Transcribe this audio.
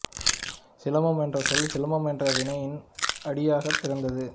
சிலம்பம் என்ற சொல் சிலம்பல் என்ற வினையின் அடியாகப் பிறந்தது